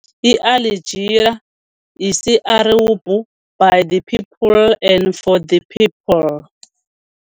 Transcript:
iAljiriya - isi-Arabhu, By the people and for the people.